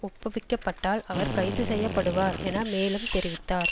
ஒப்புவிக்கப்பட்டால் அவர் கைது செய்ய படுவார் என மேலும் தெரிவித்தார்